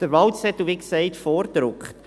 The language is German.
Der Wahlzettel ist, wie gesagt, vorgedruckt.